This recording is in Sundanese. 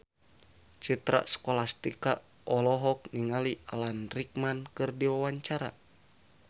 Citra Scholastika olohok ningali Alan Rickman keur diwawancara